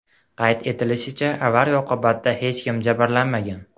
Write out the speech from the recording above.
Qayd etilishicha, avariya oqibatida hech kim jabrlanmagan.